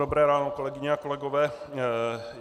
Dobré ráno kolegyně a kolegové.